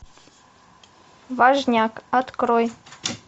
важняк открой